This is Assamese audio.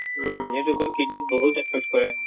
উম, এইটো বহুত kidney ত বহুত affect কৰে